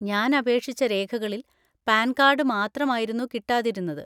ഞാൻ അപേക്ഷിച്ച രേഖകളിൽ പാൻ കാർഡ് മാത്രമായിരുന്നു കിട്ടാതിരുന്നത്.